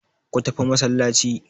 Ku tafi masallaci!